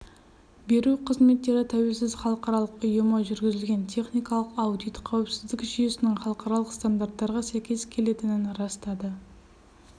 беру қызметтері тәуелсіз халықаралық ұйымы жүргізген техникалық аудит қауіпсіздік жүйесінің халықаралық стандарттарға сәйкес келетінін растады